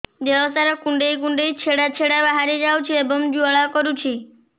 ଦେହ ସାରା କୁଣ୍ଡେଇ କୁଣ୍ଡେଇ ଛେଡ଼ା ଛେଡ଼ା ବାହାରି ଯାଉଛି ଏବଂ ଜ୍ୱାଳା କରୁଛି